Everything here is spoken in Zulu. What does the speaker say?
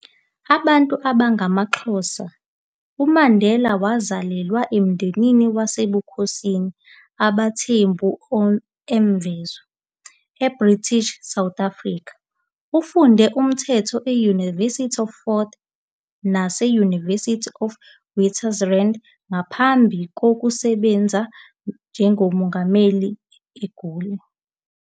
Abantu abangama-Xhosa, uMandela wazalelwa emndenini wasebukhosini abaThembu eMvezo, eBritish South Africa. Ufunde umthetho e- University of Fort Hare nase- University of Witwatersrand ngaphambi kokusebenza njengommeli eGoli.